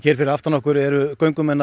fyrir aftan okkur eru göngumenn að